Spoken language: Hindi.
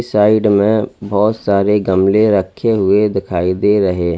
साइड में बहोत सारे गमले रखे हुए दिखाई दे रहे हैं।